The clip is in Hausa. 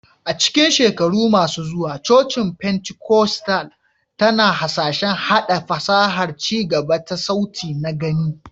A cikin shekaru masu zuwa, cocin Pentikostal tana hasashen haɗa fasahar ci gaba ta sauti na-gani